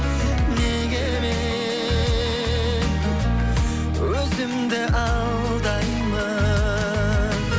неге мен өзімді алдаймын